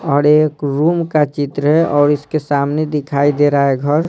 और एक रूम का चित्र है और इसके सामने दिखाई दे रहा है घर।